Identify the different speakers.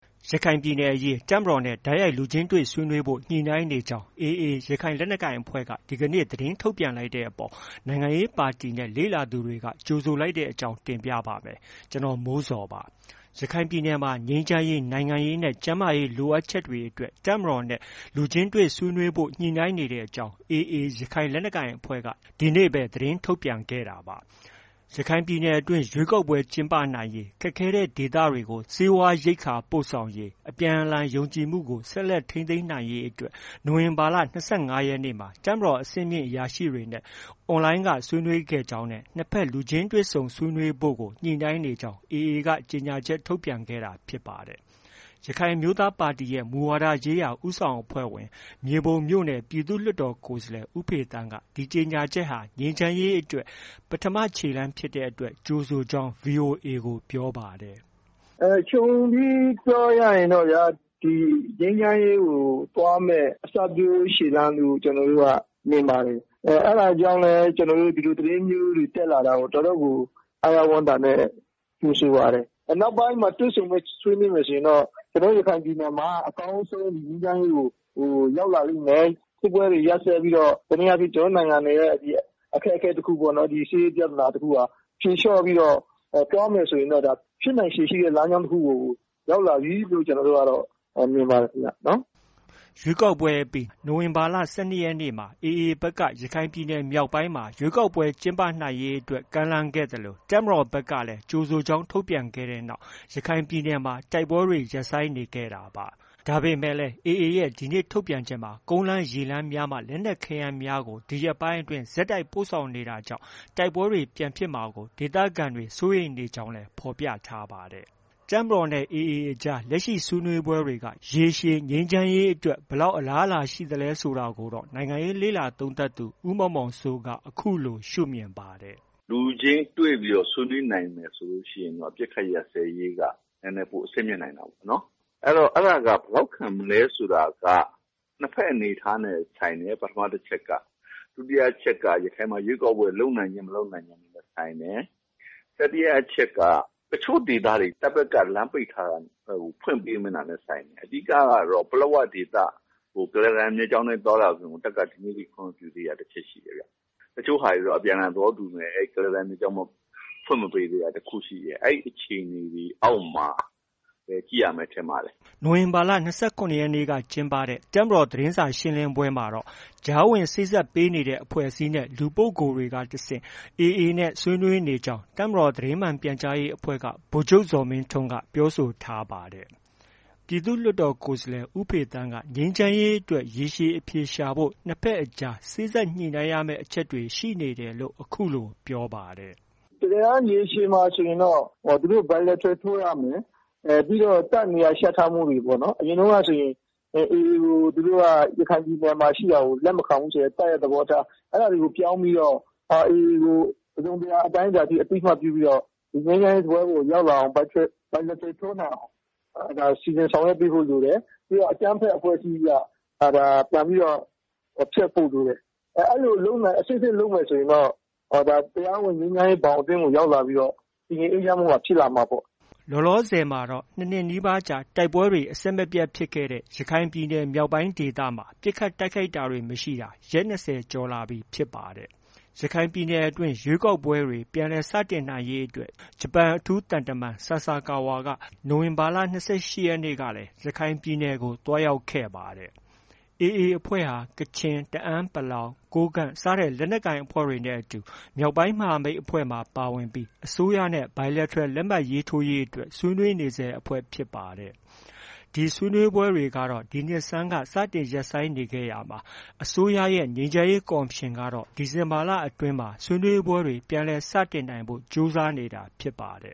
Speaker 1: ရခိုင်ပြည်နယ်အရေး တပ်မတော်နဲ့ တိုက်ရိုက်လူချင်းတွေ့ဆွေးနွေးဖို့ ညှိနှိုင်းနေကြောင်း AA ရခိုင်လက်နက်ကိုင်အဖွဲ့က ဒီကနေ့ သတင်းထုတ်ပြန်လိုက်တဲ့အပေါ် နိုင်ငံရေးပါတီနဲ့ လေ့လာသူတွေက ကြိုဆိုလိုက်ကြတဲ့အကြောင်း တင်ပြပါမယ်။ ဗွီအိုအေမြန်မာပိုင်း သတင်းထောက် ကိုမိုးဇော်က သတင်းပေးပို့ထားပါတယ်။ ရခိုင်ပြည်နယ်မှာ ငြိမ်းချမ်းရေး၊ နိုင်ငံရေးနဲ့ ကျန်းမာရေး လိုအပ်ချက်တွေအတွက် တပ်မတော်နဲ့ လူချင်းတွေ့ဆုံဆွေးနွေးဖို့ ညှိနှိုင်းနေတဲ့အကြောင်း AA ရခိုင်လက်နက်ကိုင်အဖွဲ့က ဒီနေ့ပဲ သတင်းထုတ်ပြန်ခဲ့တာပါ။ ရခိုင်ပြည်နယ်အတွင်း ရွေးကောက်ပွဲကျင်းပနိုင်ရေး၊ ခက်ခဲတဲ့ဒေသတွေကို ဆေးဝါးရိက္ခာပို့ဆောင်ရေး၊ အပြန်အလှန်ယုံကြည်မှုကို ဆက်လက်ထိန်းသိမ်းဖို့တွက် နိုဝင်ဘာလ ၂၅ ရက်နေ့မှာ တပ်မတော်အဆင့်မြင့်အရာရှိတွေနဲ့ Online က ဆွေးနွေးခဲ့ကြကြောင်းနဲ့ နှစ်ဖက် လူချင်းတွေ့ဆုံဆွေးနွေးဖို့ကို ညှိနှိုင်းနေကြောင်း AA က ကြေညာချက် ထုတ်ပြန်ခဲ့တာ ဖြစ်ပါတယ်။ ရခိုင်အမျိုးသားပါတီရဲ့ ပါတီမူဝါဒရေးရာ ဦးဆောင်အဖွဲ့ဝင် မြေပုံမြို့နယ် ပြည်သူ့လွှတ်တော်ကိုယ်စားလှယ် ဦးဖေသန်းက ဒီကြေညာချက်ဟာ ငြိမ်းချမ်းရေးအတွက် ပထမခြေလှမ်းဖြစ်တဲ့အတွက် ကြိုဆိုကြောင်း VOA ကို ပြောပါတယ်
Speaker 2: ။ “ခြုံပြီးပြောရရင်တော့ဗျာ၊ ငြိမ်းချမ်းရေးကို သွားမယ့် အစပျိုးခြေလှမ်းအဖြစ် ကျနော်တို့က မြင်ပါတယ်။ အဲဒါကြောင့်လည်း ဒီလို သတင်းမျိုးတွေ တက်လာတာကို တော်တော်ကို အားရဝမ်းသာနဲ့ ကြိုဆိုပါတယ်။ နောက်ပိုင်းမှာ တွေ့ဆုံဆွေးနွေးမယ်ဆိုရင်တော့ ကျနော်တို့ ရခိုင်ပြည်မှာ အကောင်းဆုံးငြိမ်းချမ်းရေးကို ရောက်လာလိမ့်မယ်။ စစ်ပွဲတွေ ရပ်စဲပြီးတော့ တစ်နည်းအားဖြင့် ကျနော်တို့ နိုင်ငံတော်ရဲ့ အခက်အခဲတစ်ခု၊ စစ်ရေးပြဿနာတစ်ခုဟာ ဖြေလျော့ပြီးတော့ သွားမယ်ဆိုရင်တော့ ဖြစ်နိုင်ခြေရှိတဲ့ လမ်းကြောင်းတစ်ခုကို ရောက်လာပြီလို့ မြင်ပါတယ်ခင်ဗ
Speaker 1: ျ။” ရွေးကောက်ပွဲအပြီး နိုဝင်ဘာလ ၁၂ ရက်နေ့မှာ AA ဘက်က ရခိုင်ပြည်နယ်မြောက်ပိုင်းမှာ ရွေးကောက်ပွဲ ကျင်းပနိုင်ရေးအတွက် ကမ်းလှမ်းခဲ့သလို တပ်မတော်ဘက်ကလည်း ကြိုဆိုကြောင်း ထုတ်ပြန်ခဲ့တဲ့နောက် ရခိုင်ပြည်နယ်မှာ တိုက်ပွဲတွေ ရပ်ဆိုင်းနေခဲ့တာပါ။ ဒါပေမဲ့လည်း AA ရဲ့ ဒီနေ့ထုတ်ပြန်ချက်မှာ ကုန်းလမ်း၊ ရေလမ်းများမှ လက်နက်ခဲယမ်း ရိက္ခာများကို ယခုရက်များတွင် ဆက်တိုက်ပို့ဆောင်နေတာကြောင့် တိုက်ပွဲတွေ ပြန်ဖြစ်မှာကို ဒေသခံတွေ စိုးရိမ်နေကြောင်းလည်း ဖော်ပြထားပါတယ်။ တပ်မတော်နဲ့ AA အကြား လက်ရှိဆွေးနွေးပွဲတွေက ရေရှည်ငြိမ်းချမ်းရေးအတွက် ဘယ်လောက် အလားအလာရှိသလဲဆိုတာကိုတော့ နိုင်ငံရေးလေ့လာသုံးသပ်သူ ဦးမောင်မောင်စိုးက အခုလို ရှု့မြင်ပါတယ်
Speaker 3: ။ “လူချင်းတွေ့ပြီး ဆွေးနွေးနိုင်မယ်ဆိုရင်တော့ အပစ်အခတ်ရပ်စဲရေးက နည်းနည်း ပို အဆင့်မြင့်နိုင်တာပေါ့။ အဲဒီတော့ အဲဒါက ဘယ်လောက်ခံမလဲဆိုတာက နှစ်ဘက်အနေအထားနိုင်ဆိုင်တယ် ပထမအချက်က။ ဒုတိယအချက်က ရခိုင်မှာ ရွေးကောက်ပွဲ လုပ်နိုင်ခြင်း၊ မလုပ်နိုင်ခြင်းနဲ့လည်း ဆိုင်တယ်။ တတိယအချက်က တချို့ဒေသတွေ တပ်ဘက်က လမ်းပိတ်ထားတာတွေ ဖွင့်ပေးတာနဲ့လည်း ဆိုင်တယ်။ အဓိကကတော့ ပလက်ဝဒေသကို ကုလားတန်မြစ်ကြောင်းအတိုင်း သွားလာခွင့်ကို တပ်က ဒီနေ့ထိ ခွင့်မပြုသေးတာ တစ်ချက်ရှိတယ်ဗျ။ တချို့ဟာတွေ အပြန်အလှန်သဘောတူပေမဲ့ အဲဒီ ကုလားတန်မြစ်ကြောင်း ဖွင့်မပေးသေးတာတစ်ခုရှိတယ်။ အဲဒီ အခြေအနေတွေအောက်မှာ ကြည့်ရမယ်ပဲ ထင်ပါ
Speaker 1: တယ်။” နိုဝင်ဘာလ ၂၇ ရက်နေ့ကကျင်းပတဲ့ တပ်မတော် သတင်းစာရှင်းလင်းပွဲမှာတော့ ကြားဝင် စေ့စပ်ပေးနေတဲ့ အဖွဲ့အစည်းနဲ့ လူပုဂ္ဂိုလ်တွေကတဆင့် AA နဲ့ ဆွေးနွေးနေကြောင်း တပ်မတော်သတင်းမှန်ပြန်ကြားရေးအဖွဲ့က ဗိုလ်ချုပ် ဇော်မင်းထွန်းက ပြောဆိုထားပါတယ်။ ပြည်သူ့လွှတ်တော်ကိုယ်စားလှယ် ဦးဖေသန်းကတော့ ငြိမ်းချမ်းရေးအတွက် ရေရှည်အဖြေရှာဖို့ ၂ ဘက်အကြား စေ့စပ်ညှိနှိုင်းရမယ့် အချက်တွေ ရှိနေတယ်လို့ အခုလို ပြောပါတယ်။ “တက
Speaker 2: ယ်တမ်း ရေရှည်မှာဆိုရင်တော့ သူတို့ Biletral ထိုးရမယ်။ ပြီးတော့ တပ်နေရာချထားမှုတွေပေါ့။ အရင်တုန်းကဆိုရင် AA ကို ရခိုင်ပြည်နယ်မှာ ရှိတာကို လက်မခံဘူးဆိုတဲ့ တပ်ရဲ့သဘောထား။ အဲဒါတွေကို ပြောင်းပြီးတော့ AA ကို တစ်စုံတစ်ရာ အတိုင်းအတာအထိ အသိအမှတ်ပြုပြီးတော့ ငြိမ်းချမ်းရေးစားပွဲပေါ်ကို ရောက်လာအောင် Bilateral ထိုးနိုင်အောင် စီစဉ်ဆောင်ရွက်ပေးဖို့ လိုတယ်။ ပြီးတော့ အကြမ်းဖက်အဖွဲ့အစည်းအဖြစ်က ပြန်ပြီးတော့ ဖျက်ဖို့ လိုမယ်။ အဲဒီလို အဆင့်ဆင့်လုပ်မယ်ဆိုရင်တော့ တရားဝင် ငြိမ်းချမ်းရေးဘောင်အတွင်းကို ရောက်လာပြီးတော့ တည်ငြိမ်အေးချမ်းမှုက ဖြစ်လာမှာပေါ့။”
Speaker 1: လောလောဆယ်တော့ ၂ နှစ်နီးပါးကြာ တိုက်ပွဲတွေ အဆက်မပြတ်ဖြစ်ခဲ့တဲ့ ရခိုင်ပြည်နယ် မြောက်ပိုင်းဒေသမှာ ပစ်ခတ်တိုက်ခိုက်တာတွေ မရှိတာ ရက် ၂၀ ကျော်လာပြီဖြစ်ပါတယ်။ ရခိုင်ပြည်နယ်အတွင်း ရွေးကောက်ပွဲတွေ ပြန်လည်စတင်နိုင်ရေးအတွက် ဂျပန်အထူးသံတမန် ဆာဆာကာဝါက ကြားဝင်ဆောင်ရွက်ပေးနေပြီး နိုဝင်ဘာလ ၂၈ ရက်နေ့ကလည်း ရခိုင်ပြည်နယ်ကို သွားရောက်ခဲ့ပါတယ်။ AA အဖွဲ့ဟာ ကချင်၊ တအန်း(ပလောင်)၊ ကိုးကန့် စတဲ့လက်နက်ကိုင်အဖွဲ့တွေနဲ့ အတူ မြောက်ပိုင်းမဟာမိတ်အဖွဲ့မှာ ပါဝင်ပြီး အစိုးရနဲ့ Bilateral လက်မှတ်ထိုးရေးအတွက် ဆွေးနွေးနေဆဲအဖွဲ့ဖြစ်ပါတယ်။ ဒီဆွေးနွေးပွဲတွေကတော့ ဒီနှစ်ဆန်းက စတင်ရပ်ဆိုင်းနေခဲ့ရာမှာ အစိုးရရဲ့ ငြိမ်းချမ်းရေးကော်မရှင်ကတော့ ဒီဇင်ဘာလအတွင်းမှာ ဆွေးနွေးပွဲတွေ ပြန်လည် စတင်နိုင်ဖို့ ကြိုးစားနေတာဖြစ်ပါတ